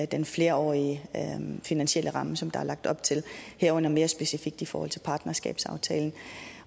den flerårige finansielle ramme som der er lagt op til herunder mere specifikt i forhold til partnerskabsaftalen